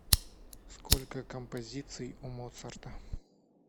сколько композиций у моцарта